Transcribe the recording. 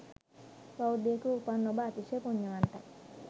බෞද්ධයකුව උපන් ඔබ අතිශය පුණ්‍යවන්තයි.